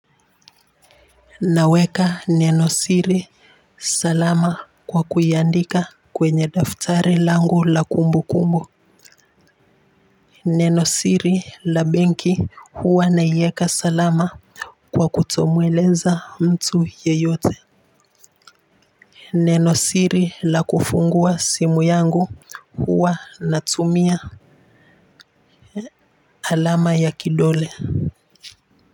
Naweka neno siri salama kwa kuiandika kwenye daftari langu la kumbu kumbu. Neno siri la benki huwa naieka salama kwa kutomweleza mtu yeyote. Neno siri la kufungua simu yangu, huwa natumia alama ya kidole.